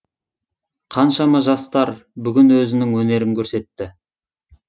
қаншама жастар бүгін өзінің өнерін көрсетті